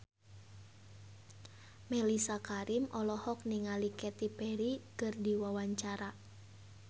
Mellisa Karim olohok ningali Katy Perry keur diwawancara